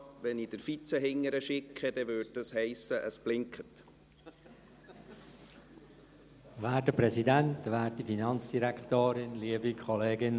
Wenn ich den Vize zu Ihnen nach hinten schicke, bedeutet dies, dass es blinkt.